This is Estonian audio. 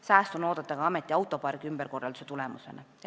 Säästu on oodata ka ameti autopargi ümberkorralduse tulemusena.